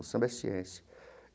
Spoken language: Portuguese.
O samba é ciência.